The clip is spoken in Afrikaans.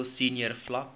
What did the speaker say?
middel senior vlak